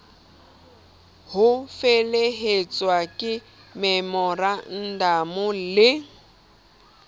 ho felehetswa ke memorandamo le